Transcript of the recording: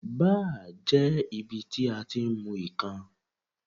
Báà jẹ́ ibi tí a ti ń mu ìkan.